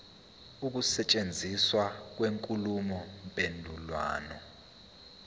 ukusetshenziswa kwenkulumo mpendulwano